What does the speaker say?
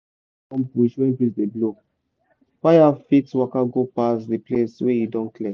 no dey burn bush when breeze dey blow fire fit waka go pass the place wey you don clear